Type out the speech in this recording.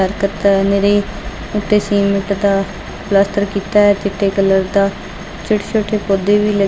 ਦਰੱਖਤ ਆ ਨੇਰੇ ਉੱਤੇ ਸੀਮੈਂਟ ਦਾ ਪਲਾਸਟਰ ਕੀਤਾ ਚਿੱਟੇ ਕਲਰ ਦਾ ਛੋਟੇ ਛੋਟੇ ਪੌਦੇ ਵੀ ਲੱਗੇ --